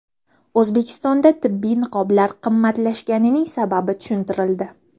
O‘zbekistonda tibbiy niqoblar qimmatlashganining sababi tushuntirildi .